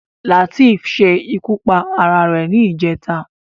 Lateef ṣe ikú pa ara rẹ̀ ní ìjẹta